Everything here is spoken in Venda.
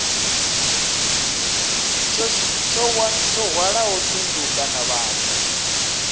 tsho hwalaho thundu kana vhathu